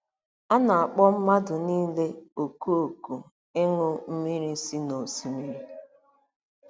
A na-akpọ mmadụ niile òkù òkù ịṅụ mmiri si n'osimiri.